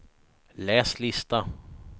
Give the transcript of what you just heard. läs lista